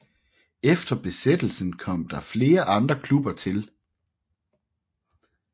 Efter Besættelsen kom der flere andre klubber til